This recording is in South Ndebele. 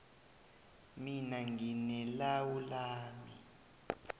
mina ngine lawu lami